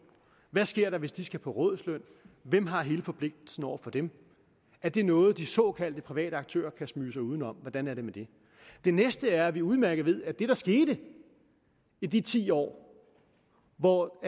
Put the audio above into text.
hvad sker der hvis de skal på rådighedsløn hvem har hele forpligtelsen over for dem er det noget de såkaldte private aktører kan smyge sig uden om hvordan er det med det det næste er at vi udmærket ved at det der skete i de ti år hvor